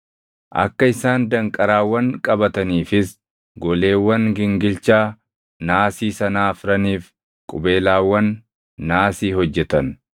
Akka isaan danqaraawwan qabataniifis goleewwan gingilchaa naasii sanaa afraniif qubeelaawwan naasii hojjetan.